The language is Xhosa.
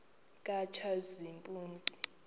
katshazimpuzi